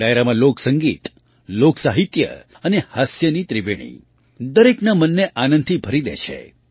આ ડાયરામાં લોકસંગીત લોકસાહિત્ય અને હાસ્યની ત્રિવેણી દરેકના મને આનંદથી ભરી દે છે